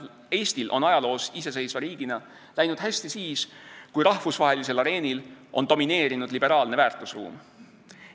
Eestil on ajaloos iseseisva riigina läinud hästi siis, kui rahvusvahelisel areenil on domineerinud liberaalne väärtusruum.